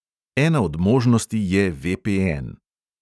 Ena od možnosti je VPN.